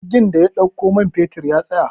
jirgin da ya ɗauko manfetol ya tsaya